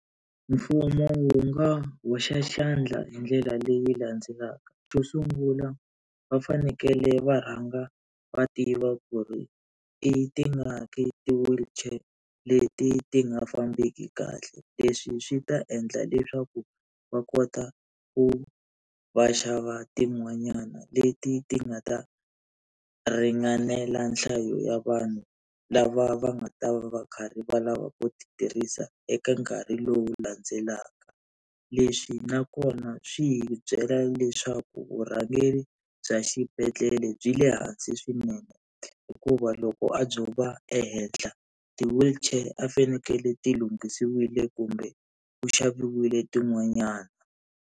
Mfumo wu nga hoxa xandla hi ndlela leyi landzelaka, xo sungula va fanekele va rhanga va tiva ku ri i tingaki ti-wheelchair leti ti nga fambeki kahle, leswi swi ta endla leswaku va kota ku va xava tin'wanyana leti ti nga ta ringanela nhlayo ya vanhu lava va nga ta va karhi va lava ku ti tirhisa eka nkarhi lowu landzelaka. Leswi nakona swi hi byela leswaku vurhangeri bya xibedhlele byi le hansi swinene, hikuva loko a byo va ehenhla ti-wheelchair a ti fanekele ti lunghisiwile kumbe ku xaviwile tin'wanyani.